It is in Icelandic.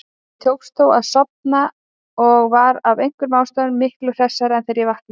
Mér tókst þó að sofna og var af einhverjum ástæðum miklu hressari þegar ég vaknaði.